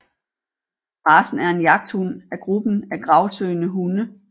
Racen er en jagthund af gruppen af gravsøgende hunde